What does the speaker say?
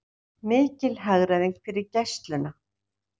Mikil hagræðing fyrir Gæsluna